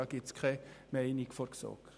Dazu gibt es also keine Meinung der GSoK.